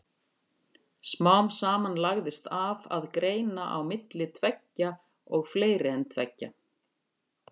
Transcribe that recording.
Smám saman lagðist af að greina á milli tveggja og fleiri en tveggja.